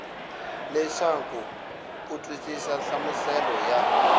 leswaku u twisisa nhlamuselo ya